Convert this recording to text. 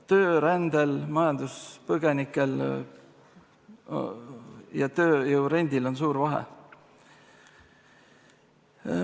Töörändel, majanduspõgenikel ja tööjõu rentimisel on suur vahe.